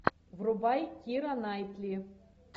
врубай кира найтли